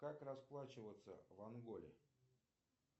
как расплачиваться в анголе